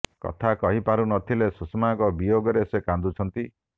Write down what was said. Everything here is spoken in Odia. କଥା କହି ପାରୁ ନ ଥିଲେ ସୁଷମାଙ୍କ ବିୟୋଗରେ ସେ କାନ୍ଦୁଛନ୍ତି